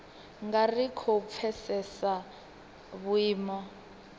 nga ri khou pfesesa vhuimo